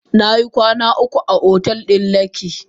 Nayi kwanan uku a otel na lekki.